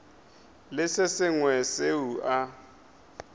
le se sengwe seo a